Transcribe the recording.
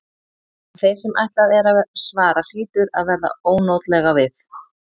En þeim sem ætlað er að svara hlýtur að verða ónotalega við.